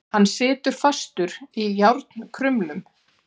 Hann situr fastur í járnkrumlum.